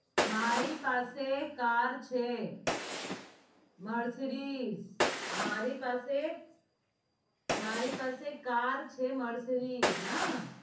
મારી પાસે car છે mercedes મારી પાસે car છે mercedes